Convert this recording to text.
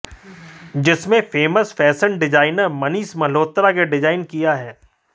जिसमें famous fashion designer Manish Malhotra के design किया है